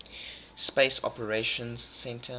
space operations centre